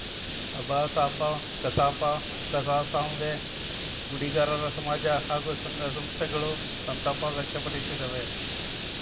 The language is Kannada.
ಅಭಾಸಾಪ ಕಸಾಪ ಕಸಾಸಾಂವೇ ಗುಡಿಗಾರರ ಸಮಾಜ ಹಾಗೂ ಸಂಘ ಸಂಸ್ಥೆಗಳು ಸಂತಾಪ ವ್ಯಕ್ತಪಡಿಸಿದವೆ